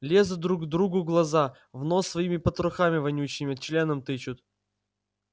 лезут друг другу в глаза в нос своими потрохами вонючими членом тычут